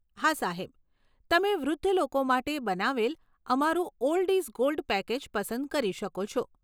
હા, સાહેબ. તમે વૃદ્ધ લોકો માટે બનાવેલ અમારું 'ઓલ્ડ ઇઝ ગોલ્ડ' પેકેજ પસંદ કરી શકો છો.